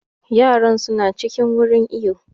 Yaran su na cikin wurin iwo